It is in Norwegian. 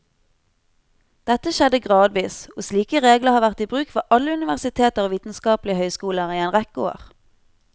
Dette skjedde gradvis, og slike regler har vært i bruk ved alle universiteter og vitenskapelige høyskoler i en rekke år.